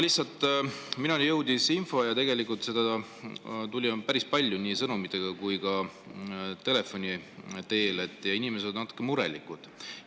Lihtsalt minuni jõudis info – ja tegelikult seda tuli päris palju, nii sõnumitega kui ka telefoni teel –, et inimesed on natuke murelikud.